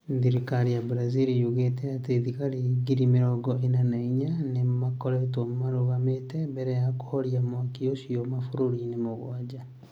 Thirikari ya Brazil yugĩte atĩ thigari giri mĩrogo ĩna na inya nĩ ikoretwo irũgamĩte mbere ya kũhoria mwaki ũcio mabũrũri-inĩ mũgwanja.